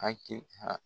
Hakili